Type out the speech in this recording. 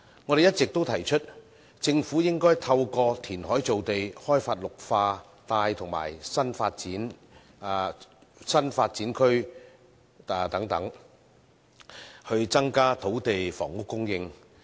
我們一直提出，政府應該透過填海造地、開發綠化帶及新發展區等，增加土地房屋供應。